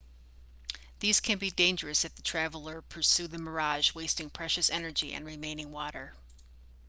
these can be dangerous if the traveler pursue the mirage wasting precious energy and remaining water